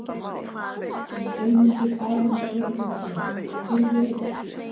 Sólmundur Aron Björgólfsson Býrðu einn?